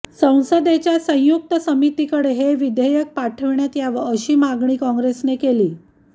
संसदेच्या संयुक्त समितीकडे हे विधेयक पाठविण्यात यावं अशी मागणी काँग्रेसने केली